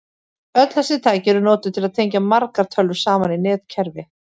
Öll þessi tæki eru notuð til að tengja margar tölvur saman í netkerfi.